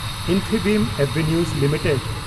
ᱤᱱᱯᱷᱤᱵᱤᱢ ᱮᱵᱷᱮᱱᱤᱣ ᱞᱤᱢᱤᱴᱮᱰ